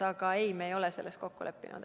Aga me ei ole selles kokku leppinud.